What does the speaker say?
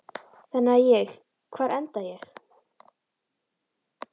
Þannig að ég, hvar enda ég?